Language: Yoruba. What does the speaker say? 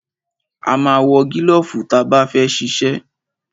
A ma ń wọ gílọ̀fù ta bá fẹ́ ṣiṣẹ́.